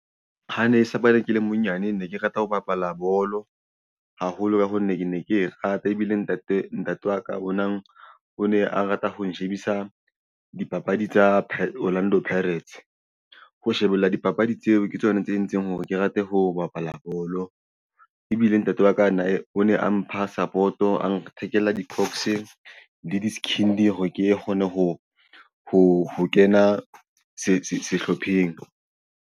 Ha ne sa bane ke le monyane ne ke rata ho bapala bolo haholo ka ha nne ke ne ke rata ebile ntate ntate wa ka o nang o ne a rata ho ho shebisa dipapadi tsa Orlando Pirates ho shebella dipapadi tseo ke tsona tse entseng hore ke rate ho bapala bolo. Ebile ntate wa ka o ne a mpha support-o a nthekela di-cocks le diskhindi hore ke kgone ho kena sehlopheng.